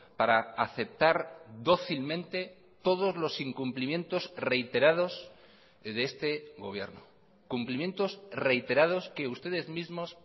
para aceptar dócilmente todos los incumplimientos reiterados de este gobierno cumplimientos reiterados que ustedes mismos